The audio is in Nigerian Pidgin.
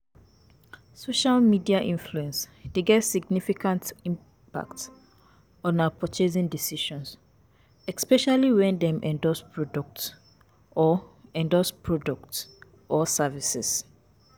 Social media influence dey get significant impact on our purchasing decisions, especially when dem endorse products or endorse products or services.